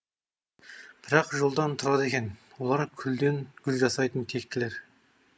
бір ақ жолдан тұрады екен олар күлден гүл жасайтын тектілер